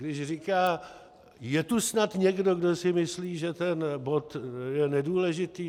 Když říká: Je tu snad někdo, kdo si myslí, že ten bod je nedůležitý?